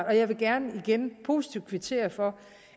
og jeg vil gerne igen positivt kvittere for